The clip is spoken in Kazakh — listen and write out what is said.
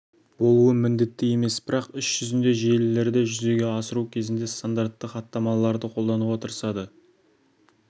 болуы міндетті емес бірақ іс жүзінде желілерді жүзеге асыру кезінде стандартты хаттамаларды қолдануға тырысады